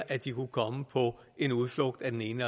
at de kunne komme på en udflugt af den ene